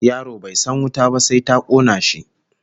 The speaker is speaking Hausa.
Yaro bai san wuta ba sai ta kona shi